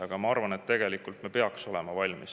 Aga ma arvan, et tegelikult me peaks olema valmis.